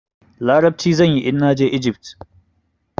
Larabci zan yi in na je Ijift.